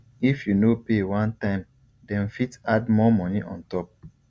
if you no pay one time dem fit add more money on top